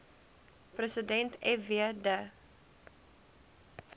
president fw de